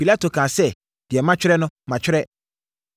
Pilato kaa sɛ, “Deɛ matwerɛ no, matwerɛ.”